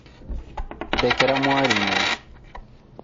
ndekera mwarimũ